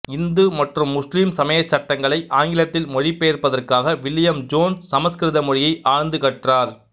இந்து மற்றும் முஸ்லீம் சமயச் சட்டங்களை ஆங்கிலத்தில் மொழிபெயர்ப்பதற்காக வில்லியம் ஜோன்ஸ் சமஸ்கிருத மொழியை ஆழ்ந்து கற்றார